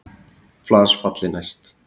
Flas falli næst.